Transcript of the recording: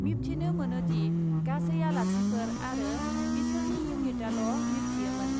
मिबथिनो मोनोदि , गासै आलासिफोर आरो बिसोरनि इउनिटआल ' मिबथियोमोन ।